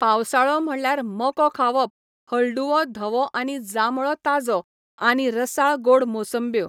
पावसाळो म्हणल्यार मको खावप हळडुवो धवो आनी जांबळो ताज्यो आनी रसाळ गोड मोसंब्यो.